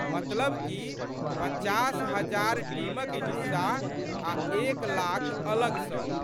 मतलब कि पचास हजार टीमक हिस्सा आ' एक लाख अलग सँ।